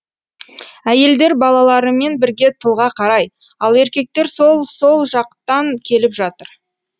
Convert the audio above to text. әйелдер балаларымен бірге тылға қарай ал еркектер сол сол жақтан келіп жатыр